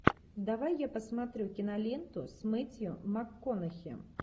давай я посмотрю киноленту с мэттью макконахи